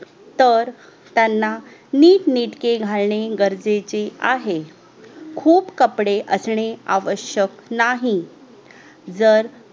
तर त्यांना नीटनेटके घालेने गरजेचे आहे घुप कपडे असणे आवश्यक नाही जर